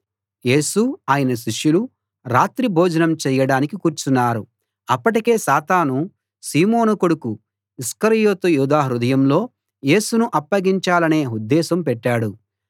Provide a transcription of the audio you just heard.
యేసు ఆయన శిష్యులు రాత్రి భోజనం చేయడానికి కూర్చున్నారు అప్పటికే సాతాను సీమోను కొడుకు ఇస్కరియోతు యూదా హృదయంలో యేసును అప్పగించాలనే ఉద్దేశం పెట్టాడు